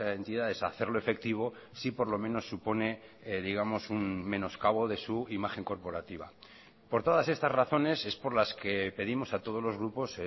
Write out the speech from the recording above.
entidades a hacerlo efectivo sí por lo menos supone digamos un menoscabo de su imagen corporativa por todas estas razones es por las que pedimos a todos los grupos